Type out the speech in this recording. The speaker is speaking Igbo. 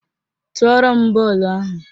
Tụọrọ m bọọlụ ahụ!